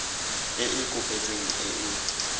e e kopetsweng e e